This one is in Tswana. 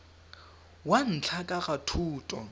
wa ntlha ka ga thoto